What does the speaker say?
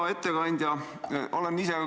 Hea ettekandja!